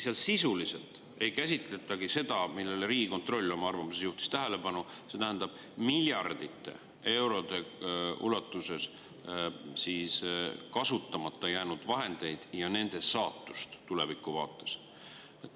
Seal sisuliselt ei käsitletagi seda, millele Riigikontroll oma arvamuses tähelepanu juhtis, see tähendab miljardite eurode ulatuses kasutamata jäänud vahendeid ja nende saatust tulevikuvaates.